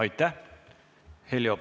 Aitäh!